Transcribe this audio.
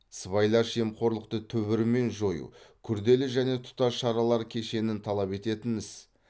сыбайлас жемқорлықты түбірімен жою күрделі және тұтас шаралар кешенін талап ететін іс